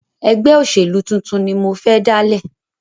Ẹgbẹ́ òṣèlú tuntun ni mo fẹ́ dáálẹ̀.